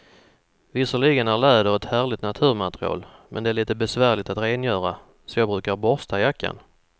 Visserligen är läder ett härligt naturmaterial, men det är lite besvärligt att rengöra, så jag brukar borsta jackan.